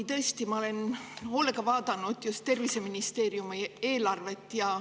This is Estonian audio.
Tõesti, ma olen hoolega vaadanud just terviseministeeriumi eelarvet.